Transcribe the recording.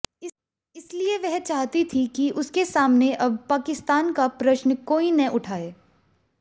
इसलिए वह चाहती थी कि उसके सामने अब पाकिस्तान का प्रश्न कोई न उठाए